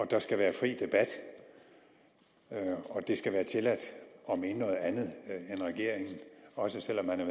der skal være fri debat og det skal være tilladt at mene noget andet end regeringen også selv om man er